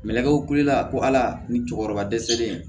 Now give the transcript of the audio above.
Mɛlɛkɛw kiliyan ko ala ni cɛkɔrɔba dɛsɛlen